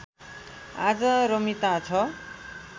आज रमिता छ